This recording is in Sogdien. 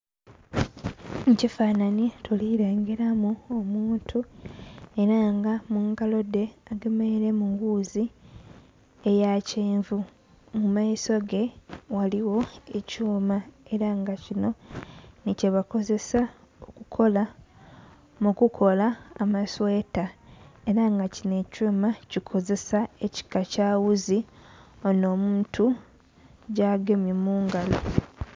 Mu kifanhani tuli lengeramu omuntu era nga mungalo dhe agemeiremu wuuzi eya kyenvu, mu maiso ge ghaligho ekyuma era nga kino nikyebakozesa okukola... mu kukola amasweta era nga kino ekyuma kikozesa ekika kya wuuzi ono omuntu gyagemye mu ngalo.